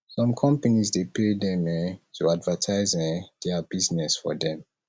some companies de pay dem um to advertise um their business for them